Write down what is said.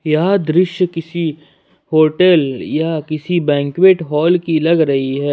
यह दृश्य किसी होटल या किसी बैंक्विट हॉल की लग रही है।